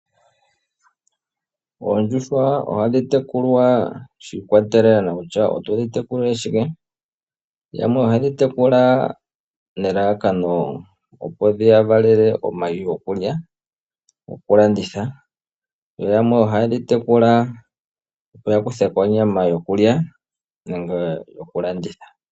Oondjuhwa ohadhi tekulwa shi ikwatelela kutya otodhi tekulile shike, yamwe ohaye dhi tekula nelalakano opo dhiya valele omayi gokulya, nogo ku landitha. Yo yamwe ohaye dhi tekula opo ya kuthe ko onyama yokulya nenge yoku landitha.